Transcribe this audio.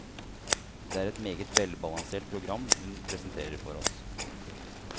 Det er et meget velbalansert program hun presenterer for oss.